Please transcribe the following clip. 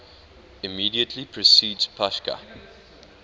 immediately precedes pascha